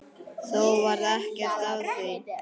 Þó varð ekkert af því.